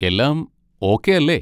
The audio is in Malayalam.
എല്ലാം ഓക്കെ അല്ലേ?